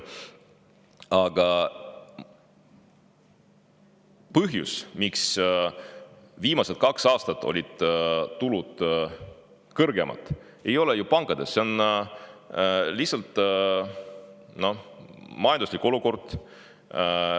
Aga põhjus, miks viimased kaks aastat olid tulud kõrgemad, ei ole ju pankades, selline oli lihtsalt majanduslik olukord.